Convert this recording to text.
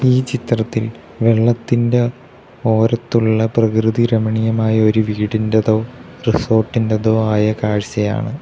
ഈ ചിത്രത്തിൽ വെള്ളത്തിൻ്റെ ഓരത്തുള്ള പ്രകൃതി രമണീയമായ ഒരു വീടിൻ്റതോ റിസോർട്ടിൻ്റതോ ആയ കാഴ്ചയാണ്.